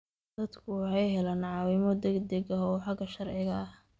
Dadku waxay helaan caawimo degdeg ah oo xagga sharciga ah.